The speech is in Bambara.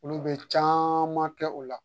Olu bɛ caman kɛ o la